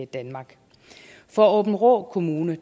danmark for aabenraa kommune